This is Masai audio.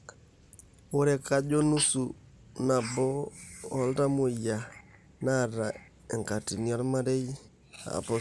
Ore kajo nusu nabo ooltamuoyia neata enkatini ormarei aapositif.